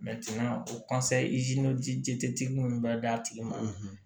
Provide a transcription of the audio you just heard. o tigi minnu bɛ d'a tigi ma